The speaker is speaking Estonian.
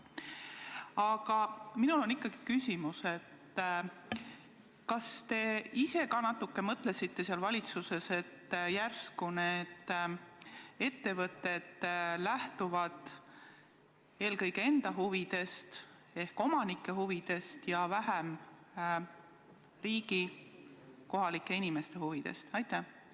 Aga mul on selline küsimus: kas te natuke mõtlesite seal valitsuses, et järsku need ettevõtted lähtuvad eelkõige enda huvidest ehk omanike huvidest ja vähem riigi, kohalike inimeste huvidest?